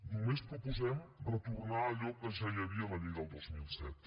només proposem retornar a allò que ja hi havia a la llei del dos mil set